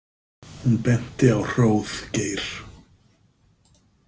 Hún benti á Hróðgeir.